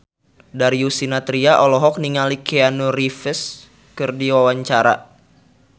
Darius Sinathrya olohok ningali Keanu Reeves keur diwawancara